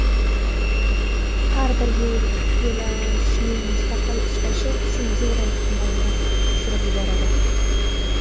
Har bir yo‘nalishning mustaqil ishlashi senzura ehtimolini tushirib yuboradi.